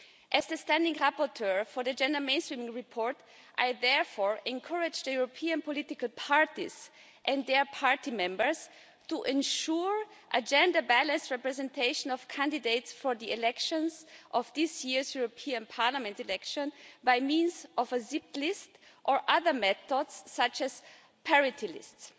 As the standing rapporteur for the gender mainstreaming report, I therefore encourage the European political parties and their party members to ensure a gender balanced representation of candidates for the elections of this year's European Parliament election by means of a zipped list or other methods such as parity lists.